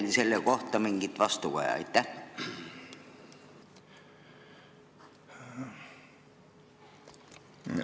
On teieni jõudnud mingit vastukaja sellele?